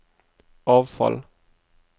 avfall